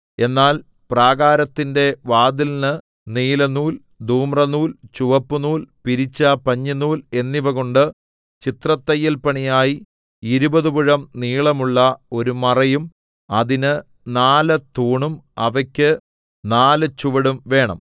എന്നാൽ പ്രാകാരത്തിന്റെ വാതിലിന് നീലനൂൽ ധൂമ്രനൂൽ ചുവപ്പുനൂൽ പിരിച്ച പഞ്ഞിനൂൽ എന്നിവകൊണ്ട് ചിത്രത്തയ്യൽപ്പണിയായി ഇരുപത് മുഴം നീളമുള്ള ഒരു മറയും അതിന് നാല് തൂണും അവയ്ക്ക് നാല് ചുവടും വേണം